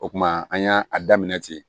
O kuma an y'a a daminɛ ten